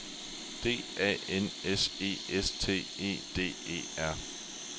D A N S E S T E D E R